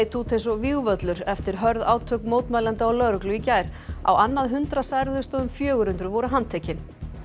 út eins og vígvöllur eftir hörð átök mótmælenda og lögreglu í gær á annað hundrað særðust og um fjögur hundruð voru handtekin